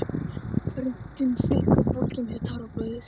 Röddin þykk og bólgin eftir táraflóðið.